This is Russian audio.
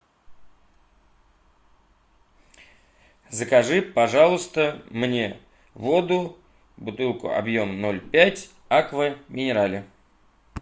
закажи пожалуйста мне воду бутылку объем ноль пять аква минерале